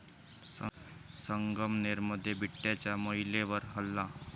संगमनेरमध्ये बिबट्याचा महिलेवर हल्ला